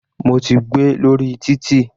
Mo ti gbé lórí títì.